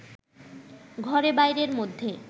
ঘরে-বাইরের মধ্যে